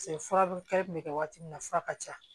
fura dun kɛnɛ kun bɛ kɛ waati min na fura ka ca